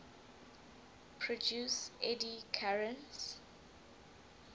produce eddy currents